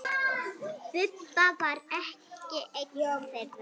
Bubba var ekki einn þeirra.